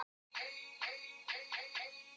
Hver ætlar að segja honum þetta?